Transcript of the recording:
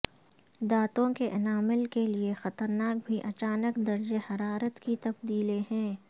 دانتوں کے انامیل کے لئے خطرناک بھی اچانک درجہ حرارت کی تبدیلییں ہیں